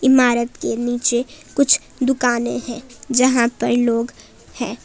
इमारत के नीचे कुछ दुकानें हैं यहां पर लोग हैं।